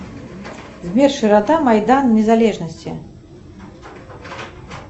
сбер широта майдан незалежности